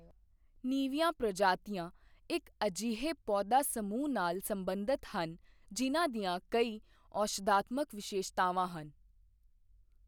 ਨਵੀਂਆਂ ਪ੍ਰਜਾਤੀਆਂ ਇੱਕ ਅਜਿਹੇ ਪੌਦਾ ਸਮੂਹ ਨਾਲ ਸਬੰਧਤ ਹਨ ਜਿਨ੍ਹਾਂ ਦੀਆਂ ਕਈ ਔਸ਼ਧਾਤਮਕ ਵਿਸ਼ੇਸ਼ਤਾਵਾਂ ਹਨ